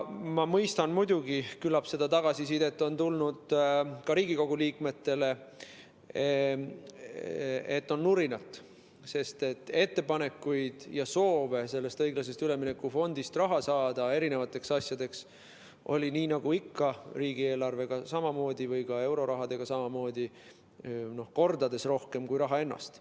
Ma mõistan muidugi, küllap seda tagasisidet on tulnud ka Riigikogu liikmetele, et on nurinat, sest ettepanekuid ja soove sellest õiglase ülemineku fondist eri asjadeks raha saada oli, nii nagu ikka, riigieelarve ja euroraha puhul on samamoodi, mitu korda rohkem kui raha ennast.